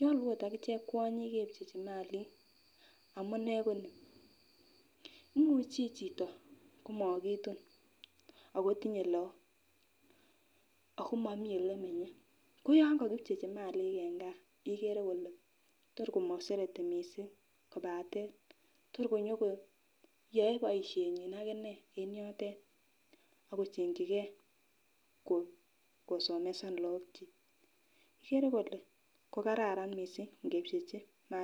nyolu oot akiche kwanyik kepchechi malik amunee koni imuche chito komokitun akotinye laok akomomii olemenye koyongo kipchechi malik en ngaa ikere ile torkomosereti kobaten tor konyokoyoe boisienyin akinee en yotet akochengyike kosomesan laokyik ikere ile torko kararan missing ngepchechi malik.